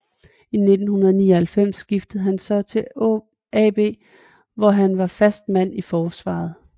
I 1999 skiftede han så til AB hvor han var fast mand i forsvaret